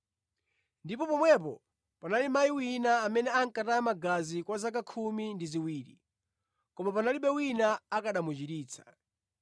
Ndipo pomwepo panali mayi wina amene ankataya magazi kwa zaka khumi ndi ziwiri, koma panalibe wina akanamuchiritsa.